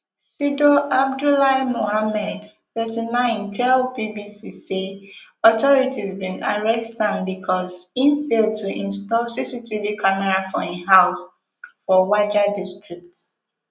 sidow abdullahi mohamed thirty-nine tell bbc say authorities bin arrest am bicos im fail to install cctv camera for im house for wajir district